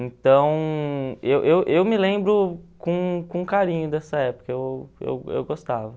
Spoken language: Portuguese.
Então eu eu eu me lembro com com carinho dessa época, eu eu eu gostava.